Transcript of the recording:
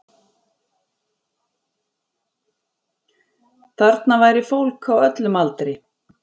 Þarna væri fólk á öllum aldri